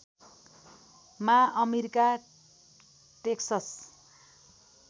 मा America Texas